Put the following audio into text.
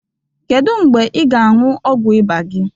Kedụ mgbe ị ga-añyu ọgwu ịba gi?